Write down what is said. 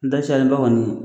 N da caliba kɔni